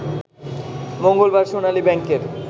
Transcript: মঙ্গলবার সোনালী ব্যাংকের